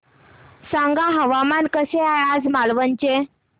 सांगा हवामान कसे आहे आज मालवण चे